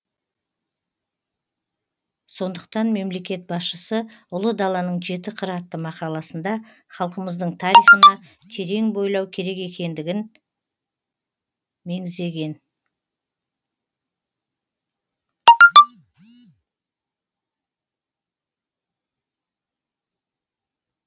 сондықтан мемлекет басшысы ұлы даланың жеті қыры атты мақаласында халқымыздың тарихына терең бойлау керек екендігін меңзеген